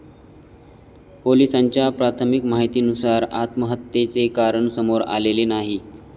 पोलीसांच्या प्राथमिक माहितीनुसार आत्महत्येचे कारण समोर आलेले नाही.